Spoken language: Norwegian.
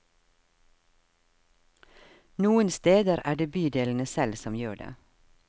Noen steder er det bydelene selv som gjør det.